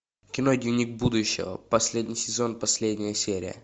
кино дневник будущего последний сезон последняя серия